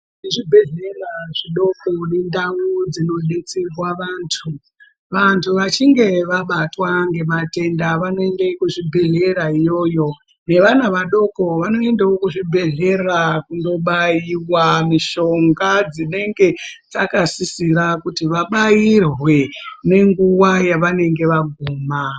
Muzvibhehlera zvidoko nendau dzinodetserwa vantu , vantu vachinge vabatwa ngematenda vanoende kuzvibhehlera iyoyo. Ngevana vadoko vanoendawo kuzvibhehlera kundobaiwa mishonga dzinenge dzakasisira kuti vabairwe nenguwa yavanenge vaguma.